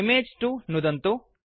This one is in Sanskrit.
इमेज 2 नुदन्तु